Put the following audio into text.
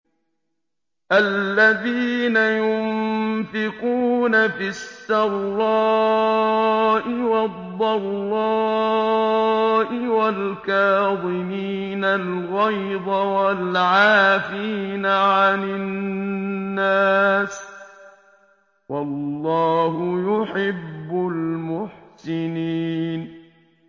الَّذِينَ يُنفِقُونَ فِي السَّرَّاءِ وَالضَّرَّاءِ وَالْكَاظِمِينَ الْغَيْظَ وَالْعَافِينَ عَنِ النَّاسِ ۗ وَاللَّهُ يُحِبُّ الْمُحْسِنِينَ